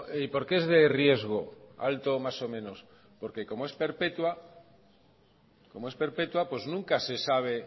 y por qué es de riesgo alto más o menos porque como es perpetua nunca se sabe